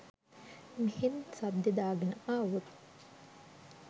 මෙහෙන් සද්දෙ දාගෙන ආවොත්